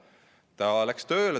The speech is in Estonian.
Ta läks tööle.